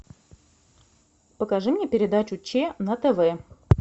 покажи мне передачу че на тв